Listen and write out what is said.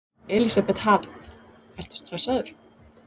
Elísabet Hall: Ertu stressaður?